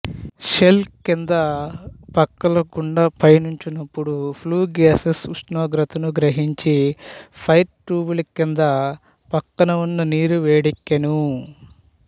shell కింద పక్కల గుండా పయనీంచునపుడు ఫ్లూ గ్యాసెస్ ఉష్ణోగ్రతను గ్రహించి ఫైర్ ట్యూబులకింద పక్కన వున్న నీరు వేడెక్కును